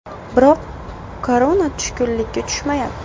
Biroq Korona tushkunlikka tushmayapti.